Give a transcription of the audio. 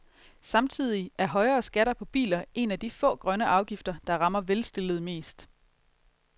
Samtidig er højere skatter på biler en af de få grønne afgifter, der rammer velstillede mest.